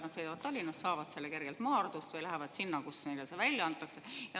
Nad sõidavad Tallinnas, aga saavad selle kergelt Maardust või lähevad sinna, kus see neile välja antakse.